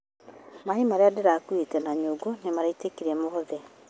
Maĩ marĩa ndakuuĩte na nyũngũnĩmaitĩkire mothe